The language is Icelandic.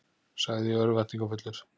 sagði ég örvæntingarfullur.